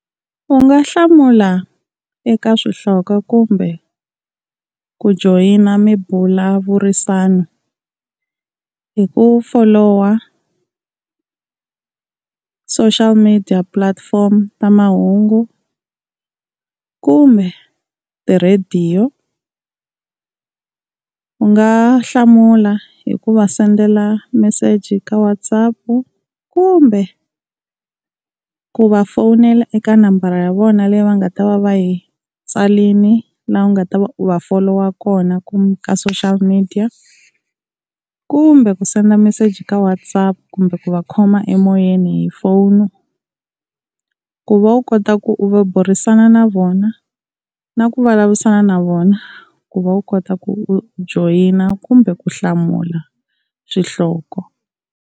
U nga hlamula eka swihloko kumbe ku joyina mimbulavurisano hi ku folowa social media platform ta mahungu, kumbe tirhadiyo. U nga hlamula hi ku va sendela meseji ka WhatsApp kumbe ku va fonela eka nambara ya vona leyi va nga ta va va yi tsarile la u nga ta va u va folowa kona ka social media, kumbe ku send message ka WhatsApp kumbe ku va khoma emoyeni hi phone. Ku va u kota ku u va burisana na vona na ku vulavurisana na vona ku va u kota ku u joyina kumbe ku hlamula swihloko.